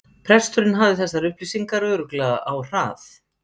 Presturinn hafði þessar upplýsingar örugglega á hrað